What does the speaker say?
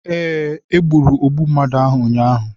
Ee, e gburu ogbu mmadụ ahụ ụnyahụ.